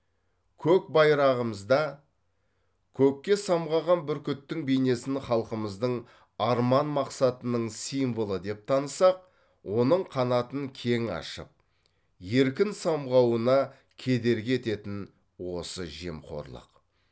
көк байрағымызда көкке самғаған бүркіттің бейнесін халқымыздың арман мақсатының символы деп танысақ оның қанатын кең ашып еркін самғауына кедергі ететін осы жемқорлық